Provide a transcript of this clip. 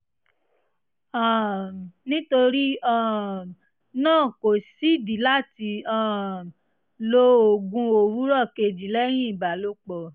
um nítorí um náà kò sídìí láti um lo oògùn òwúrọ̀ kejì lẹ́yìn ìbálòpọ̀